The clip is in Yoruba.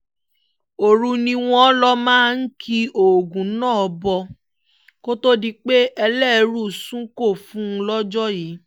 ọ̀run ni wọ́n lọ máa ń ki oògùn náà bọ̀ kó tóó di pé ẹlẹ́ẹrú sunko fún un lọ́jọ́ yìí